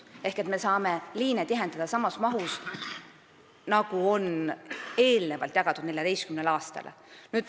Ehk me saame liine tihendada samas mahus nagu eelnevalt jagatuna 14 aastale.